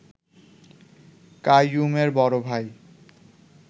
কাইয়ুমের বড় ভাই